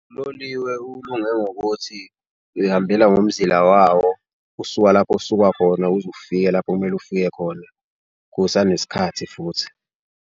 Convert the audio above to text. Uloliwe ulunge ngokuthi uyihambela ngomzila wawo usuka lapho osuka khona, uze ufike lapho okumele ufike khona kusanesikhathi futhi.